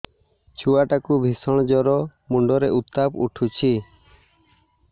ଛୁଆ ଟା କୁ ଭିଷଣ ଜର ମୁଣ୍ଡ ରେ ଉତ୍ତାପ ଉଠୁଛି